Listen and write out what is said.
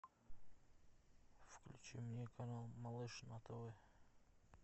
включи мне канал малыш на тв